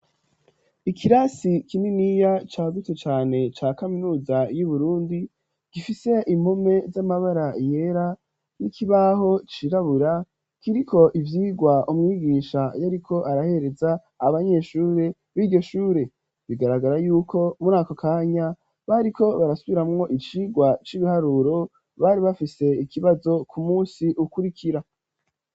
ikirasi kininiya cagutse cane ca kaminuza y'Uburundi gifise impome z'amabara yera , n'ikibaho cirabura kiriko ivyigwa umwigisha yariko arahereza abanyeshure b'iryo shure . Bigaragara yuko mur ' ako kanya bariko barasubiramwo icigwa c'ibiharuro bari bafise ikibazo ku munsi ukurikira